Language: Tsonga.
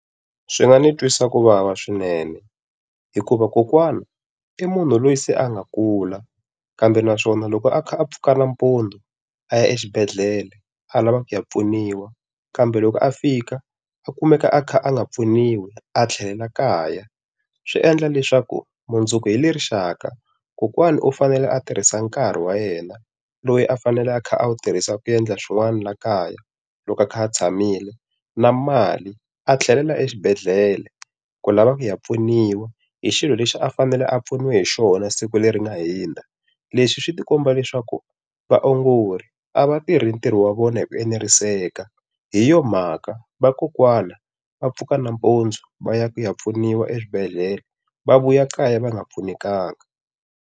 Swi nga ni twisa ku vava swinene hikuva kokwana i munhu loyi se a nga kula kambe naswona loko a pfuka nampundzu a ya exibedhlele, a lavaka ya pfuniwa. Kambe loko a fika, u kumeka a kha a nga pfuniwi, a tlhelela kaya. Swi endla leswaku mundzuku hi le rixaka kokwana u fanele a tirhisa nkarhi wa yena loyi a fanele a kha a wu tirhisaka ku endla swin'wana laha kaya loko a kha a tshamile, na mali, a tlhelela exibedhela ku lavaka ya pfuniwa hi xilo lexi a fanele a pfuniwe hi xona siku leri nga hundza. Leswi swi komba leswaku vaongori a va tirhi ntirho wa vona hi ku eneriseka. Hi yoho mhaka vakokwana va pfuka nampundzu va ya ku ya pfuniwa eswibedhlele va vuya kaya va nga pfunekanga.